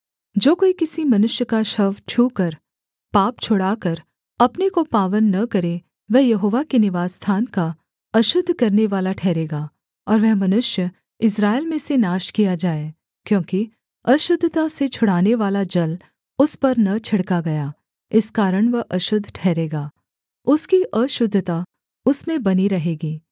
जो कोई किसी मनुष्य का शव छूकर पाप छुड़ाकर अपने को पावन न करे वह यहोवा के निवासस्थान का अशुद्ध करनेवाला ठहरेगा और वह मनुष्य इस्राएल में से नाश किया जाए क्योंकि अशुद्धता से छुड़ानेवाला जल उस पर न छिड़का गया इस कारण वह अशुद्ध ठहरेगा उसकी अशुद्धता उसमें बनी रहेगी